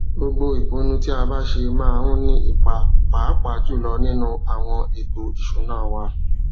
gbogbo ìpinnu tí a bá ṣe máa ń ní ipa pàápàá jùlọ nínú àwọn ètòìṣúná wa